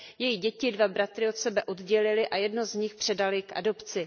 Její děti, dva bratry, od sebe oddělily a jednoho z nich předaly k adopci.